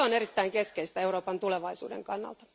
Se on erittäin keskeistä Euroopan tulevaisuuden kannalta.